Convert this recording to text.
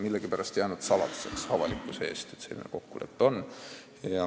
Millegipärast on aga avalikkuse ees saladuseks jäänud, et selline kokkulepe on.